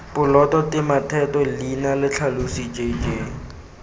poloto tematheto leina letlhalosi jj